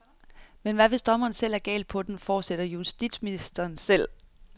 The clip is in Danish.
Men hvad hvis dommerne selv er galt på den, fortsætter justitsministeren selv.